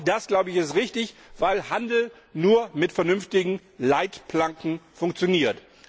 Auch das, glaube ich, ist richtig, weil Handel nur mit vernünftigen Leitplanken funktioniert.